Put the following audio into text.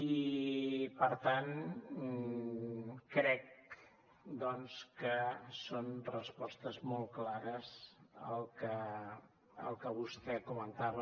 i per tant crec doncs que són respostes molt clares el que vostè comentava